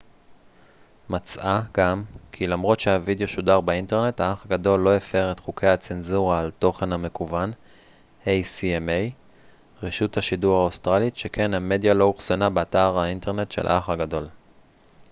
רשות השידור האוסטרלית acma מצאה גם כי למרות שהווידיאו שודר באינטרנט האח הגדול לא הפר את חוקי הצנזורה על תוכן מקוון שכן המדיה לא אוחסנה באתר האינטרנט של האח הגדול